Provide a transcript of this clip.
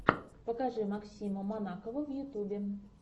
покажи максима манакова в ютубе